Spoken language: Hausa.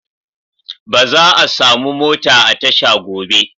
Ba za'a samu mota a tasha gobe.